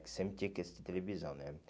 Que sempre tinha que assistir televisão, né?